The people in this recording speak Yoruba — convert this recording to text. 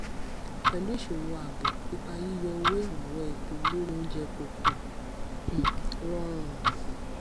pẹlú ìṣòro ààbò ipa yíyọ owó ìrànwọ epo lórí oúnjẹ kò um um rọrùn